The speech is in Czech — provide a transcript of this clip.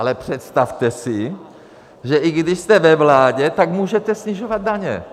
Ale představte si, že i když jste ve vládě, tak můžete snižovat daně.